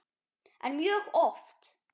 En mjög oft.